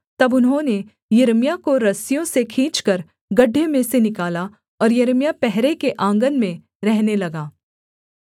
तब उन्होंने यिर्मयाह को रस्सियों से खींचकर गड्ढे में से निकाला और यिर्मयाह पहरे के आँगन में रहने लगा